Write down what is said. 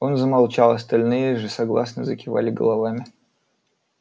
он замолчал остальные же согласно закивали головами